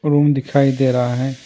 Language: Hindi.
रूम दिखाई दे रहा है।